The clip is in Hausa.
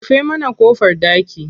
Rufe mana ƙofar ɗaki.